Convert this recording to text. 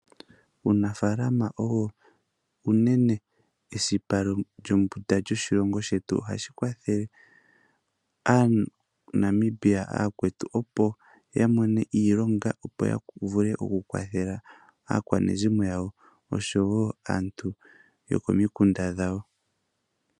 Uunafalama owo unene esipa lyombunda lyoshilongo shetu, ohashi kwathele aaNamibia aakwetu opo ya kone iilonga, opo ya vule okukwathela aakwanezimo yawo oshowo aantu yopomikunda dhawo.